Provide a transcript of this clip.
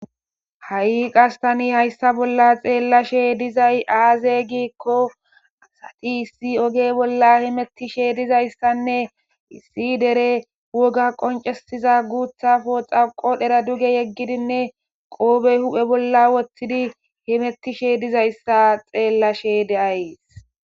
ha7i qastani hayssa bolla xeellashe dizay aaze giikko asati issi oge bolla himettishe dizayssanne issi dere woga qoncesiza guutha fooxaqo dhera duge yeggidinne qoobey hu7he bolla woththidi himettishe dizayssa xeellashe deays